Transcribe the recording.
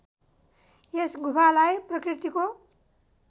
यस गुफालाई प्रकृतिको